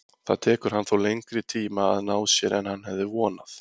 Það tekur hann þó lengri tíma að ná sér en hann hefði vonað.